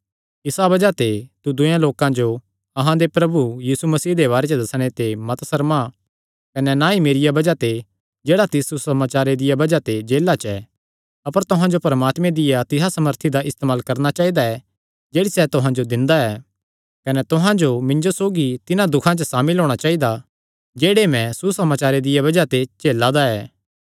इसा बज़ाह ते तू दूये लोकां जो अहां दे प्रभु यीशु मसीह दे बारे च दस्सणे ते मत सर्मा कने ना ई मेरिया बज़ाह ते जेह्ड़ा तिस सुसमाचारे दिया सेवा तांई जेला च ऐ अपर तुहां जो परमात्मे दिया तिसा सामर्थी दा इस्तेमाल करणा चाइदा ऐ जेह्ड़ी सैह़ तुहां जो दिंदा ऐ कने तुहां जो मिन्जो सौगी तिन्हां दुखां च सामिल होई जाणा चाइदा जेह्ड़े मैं सुसमाचारे दिया बज़ाह ते झेला दा ऐ